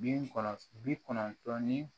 Bi kɔnɔntɔn bi kɔnɔntɔn ni